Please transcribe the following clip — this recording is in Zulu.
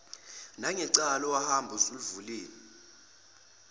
nangecala owahamba ulivulile